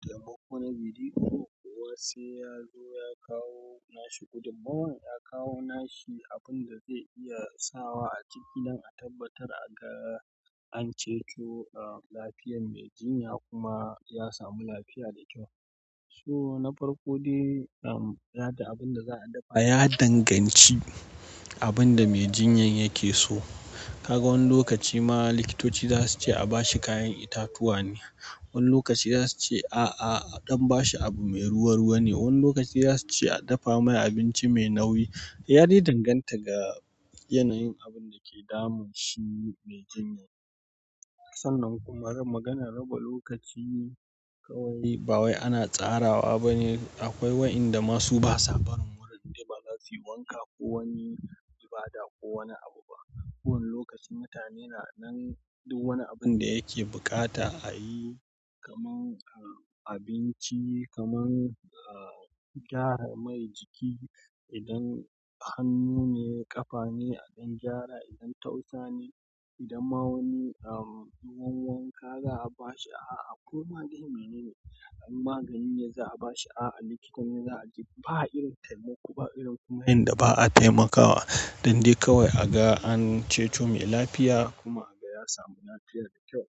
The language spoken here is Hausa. Taimako na biri ko wasu ya zo ya kawo nashi gudummawan, ya kawo nashi abun da zai iya sawa a cikin idan a tabbatar a ga an ceto lafiyar mai jinya kuma ya samu lafiya da kyau. So na farko dai, um, yaɗa abin da za a dafa. Ya danganci abin da mai jinyan yake so. Kaga wani lokaci ma likitoci za su ce a bashi kayan itatuwa ne. Wani lokaci za su ce, "A'a, a ɗan ba shi abu mai ruwa-ruwa ne." Wani lokaci za su ce, "A dafa mai abinci mai nauyi." Ya dai danganta ga yanayin abun da ke damun shi mai jinyan. Sannan kuma rab-- maganar raba lokaci ne kawai. Ba wai ana tsarawa ba ne. Akwai waɗanda masu ba sa barin wurin, dai ba za su yi wanka ko wani ibada ko wani abu ba. Kowane lokaci mutane na nan duk wani abun da yake buƙata a yi, kamar, um, abinci, kamar, um, gyara mai jiki. Idan hannu ne, ƙafa ne a ɗan gyara. Idan tausa ne, idan ma wani wanka za'a bashi, koma dai menene, in magani ne za'a bashi, ba irin taimako, ba irin yadda ba'a taimakawa don dai kawai a ga an ce mai lafiya kuma a ga ya samu lafiya da kyau.